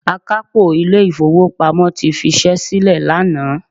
Akápò ilé ìfowópamọ́ ti fi ṣẹ́ sílè lánàá.